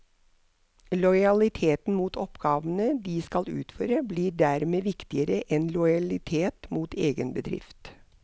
Lojaliteten mot oppgavene de skal utføre blir dermed viktigere enn lojalitet mot egen bedrift.